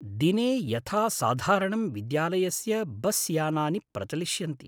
दिने यथासाधारणं विद्यालयस्य बस्यानानि प्रचलिष्यन्ति।